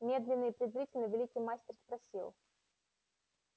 медленно и презрительно великий мастер спросил